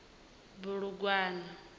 bulugwane